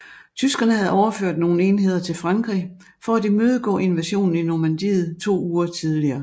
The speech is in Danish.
Tyskerne havde overført nogle enheder til Frankrig for at imødegå invasionen i Normandiet to uger tidligere